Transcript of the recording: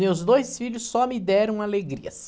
Meus dois filhos só me deram alegrias.